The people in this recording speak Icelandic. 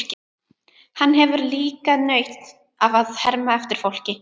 Hann hefur líka nautn af að herma eftir fólki.